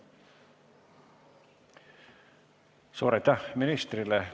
Suur aitäh ministrile!